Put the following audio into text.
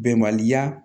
Bɛnbaliya